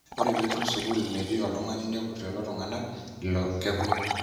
Ore petum sukul metii oltungani nepur lelo tunganak leilo kekun.